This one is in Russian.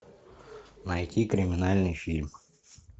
найти криминальный фильм